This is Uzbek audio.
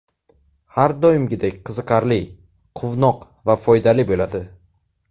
Har doimgidek qiziqarli, quvnoq va foydali bo‘ladi!